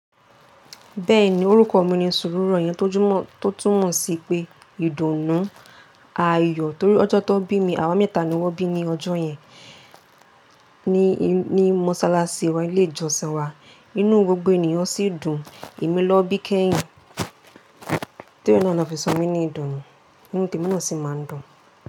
Bẹ́ẹ̀ni orúkọ mi ni Sùúrùrọ̀ yẹn tó túmọ̀ sí pé ìdùnnú ayọ̀ torí ọjọ́ tó bí mi, àwa mẹ́ta ni wọ́n bí ní ọjọ́ yẹn ní mọ́ṣáláṣí wa, ilé ìjọsìn wa. Inu gbogbo ènìyàn sì dùn, èmi ló bí kẹ́yìn torí náà ni wọ́n fi sọ mí ní Ìdùnnú, nítorí mo náà sì máa ń dùn.